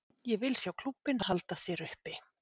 Ég vil sjá klúbbinn halda sér uppi.